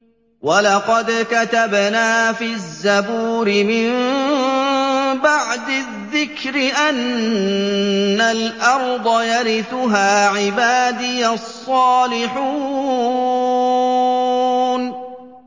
وَلَقَدْ كَتَبْنَا فِي الزَّبُورِ مِن بَعْدِ الذِّكْرِ أَنَّ الْأَرْضَ يَرِثُهَا عِبَادِيَ الصَّالِحُونَ